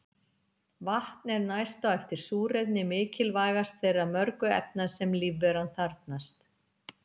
Vatn er næst á eftir súrefni mikilvægast þeirra mörgu efna sem lífveran þarfnast.